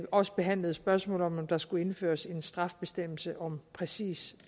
også behandlede spørgsmålet om hvorvidt der skulle indføres en strafbestemmelse om præcis